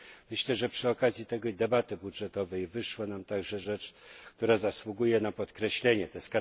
Myślę, że przy okazji tej debaty budżetowej wyszła nam także rzecz, która zasługuje na podkreślenie, tj.